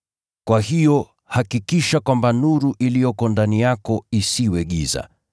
Kwa hiyo, hakikisha kwamba nuru iliyoko ndani yako isiwe giza.